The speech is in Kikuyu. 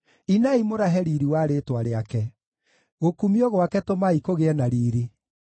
Inai mũrahe riiri wa rĩĩtwa rĩake; gũkumio gwake tũmai kũgĩe na riiri!